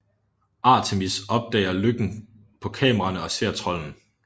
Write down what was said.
Artemis opdager løkken på kameraerne og ser trolden